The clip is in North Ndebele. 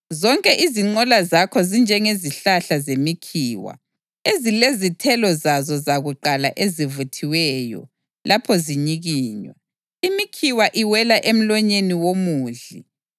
Zonke izinqola zakho zinjengezihlahla zemikhiwa ezilezithelo zazo zakuqala ezivuthiweyo; lapho zinyikinywa, imikhiwa iwela emlonyeni womudli.